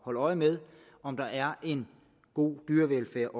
holde øje med om der er en god dyrevelfærd